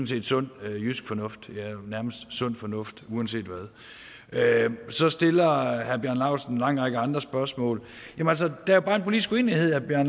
set sund jysk fornuft eller nærmest sund fornuft uanset hvad så stiller herre bjarne laustsen en lang række andre spørgsmål der er bare en politisk uenighed og det